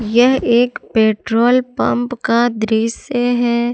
यह एक petrol pump का दृश्य है।